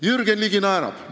Jürgen Ligi naerab.